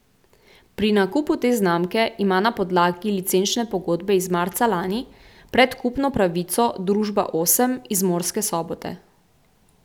Pri nakupu te znamke ima na podlagi licenčne pogodbe iz marca lani predkupno pravico družba Osem iz Murske Sobote.